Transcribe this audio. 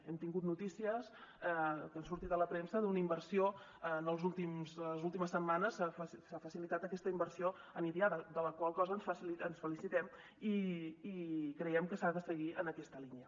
hem tingut notícies que han sortit a la premsa d’una inversió en les últimes setmanes s’ha facilitat aquesta inversió per a idiada de la qual cosa ens felicitem i creiem que s’ha de seguir en aquesta línia